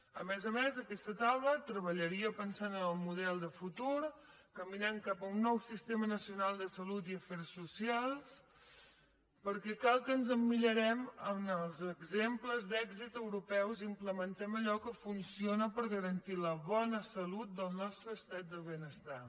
a més a més aquesta taula treballaria pensant en el model de futur caminant cap a un nou sistema nacional de salut i afers socials perquè cal que ens emmirallem en els exemples d’èxit europeus i implementem allò que funciona per garantir la bona salut del nostre estat del benestar